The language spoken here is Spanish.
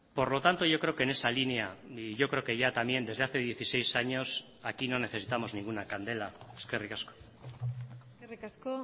por lo tanto yo creo que en esa línea y yo creo que ya también desde hace dieciséis años aquí no necesitamos ninguna candela eskerrik asko eskerrik asko